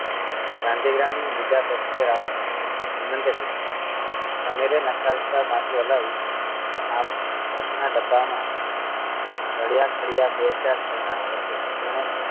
શાંતિગ્રામ નું બીજા passenger આવશે હેમંત એ પૂછ્યું સમીરે નકારતા માથું હલાવી આમ આપણાં ડબ્બા માં રડ્યા ખડ્યા બે ચાર જણાં આવશે